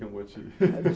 que eu vou te